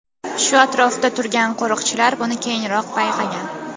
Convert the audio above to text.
Shu atrofda turgan qo‘riqchilar buni keyinroq payqagan.